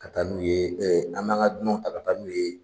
Ka taa n'u ye an n'an ka dunanw ta ka taa n'u ye